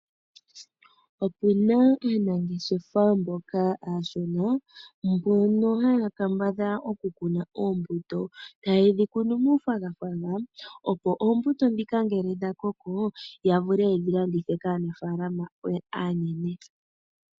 Opu na aanangeshefa mboka aashona mbono haya kambadhala okukuna oombuto, taye dhi kunu muufagafaga opo oombuto ndhika ngele dha koko ya vule ye dhi landitha kaanaafalama aanene.